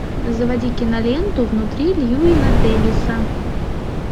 заводи киноленту внутри льюина дэвиса